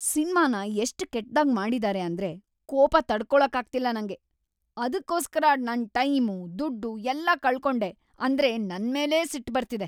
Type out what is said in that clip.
ಸಿನ್ಮಾನ ಎಷ್ಟ್ ಕೆಟ್ದಾಗ್‌ ಮಾಡಿದಾರೆ ಅಂದ್ರೆ ಕೋಪ ತಡ್ಕೊಳಕ್ಕಾಗ್ತಿಲ್ಲ ನಂಗೆ. ಅದ್ಕೋಸ್ಕರ ನನ್ ಟೈಮು, ದುಡ್ಡು ಎಲ್ಲ ಕಳ್ಕೊಂಡೆ ಅಂದ್ರೆ ನನ್ಮೇಲೇ ಸಿಟ್ಟ್‌ ಬರ್ತಿದೆ.